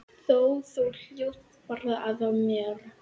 Þú hlóst bara að mér.